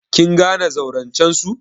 Kin gane zaurancen su?